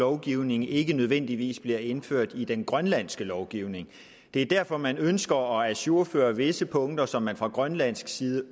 lovgivning ikke nødvendigvis bliver indført i den grønlandske lovgivning det er derfor man ønsker at ajourføre visse punkter som der fra grønlandsk side